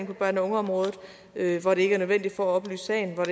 på børne og ungeområdet hvor det ikke er nødvendigt for at oplyse sagen og